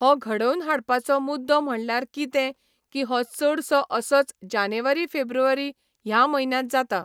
हो घडोवन हाडपाचो मुद्दो म्हणल्यार कितें की हो चडसो असोच जानेवारी फेब्रुवारी ह्या म्हयन्यांत जाता.